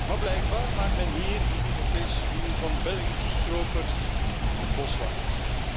Maar blijkbaar maakt men hier in de Europese Unie van Belgische stropers boswachters.